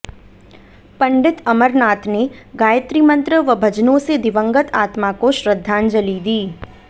पंडित अमरनाथ ने गायत्री मंत्र व भजनों से दिवंगत आत्मा को श्रद्धांजलि दी